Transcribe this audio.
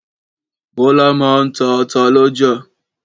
Bọ́lá máa ń ta ata lọ́jà.